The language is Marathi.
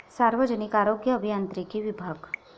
सार्वजनिक आरोग्य अभियांत्रिकी विभाग